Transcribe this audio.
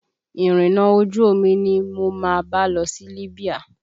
Irinna ojú omi ni mo máa bá lọ sí Libya